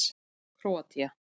Króatía